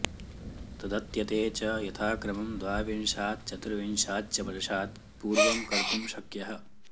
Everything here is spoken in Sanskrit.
तदत्यते च यथाक्रमं द्वाविंशात् चतुर्विंशाच्च वर्षात् पूर्वं कर्तुं शक्यः